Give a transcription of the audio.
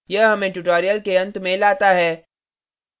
यह हमें tutorial के अंत में लाता है